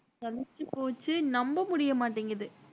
நம்ப முடிய மாட்டேங்குது